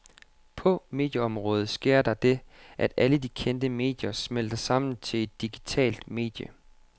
På medieområdet sker der det, at alle de kendte medier smelter sammen til ét digitalt medie.